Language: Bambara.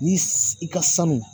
Ni i ka sanu.